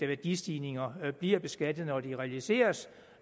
værdistigninger bliver beskattet når de realiseres